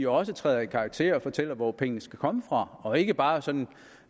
også træder i karakter og fortæller hvor pengene skal komme fra og ikke bare som